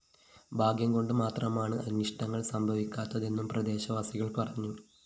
ഭാഗ്യം കൊണ്ട് മാത്രമാണ് അനിഷ്ടങ്ങള്‍ സംഭവിക്കാത്തതെന്നും പ്രദേശവാസികള്‍ പറഞ്ഞു